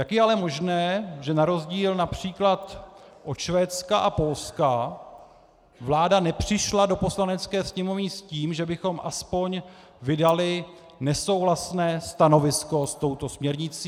Jak je ale možné, že na rozdíl například od Švédska a Polska vláda nepřišla do Poslanecké sněmovny s tím, že bychom aspoň vydali nesouhlasné stanovisko s touto směrnicí?